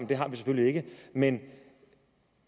det har vi selvfølgelig ikke men